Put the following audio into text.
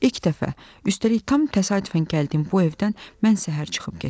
İlk dəfə, üstəlik tam təsadüfən gəldiyim bu evdən mən səhər çıxıb getdim.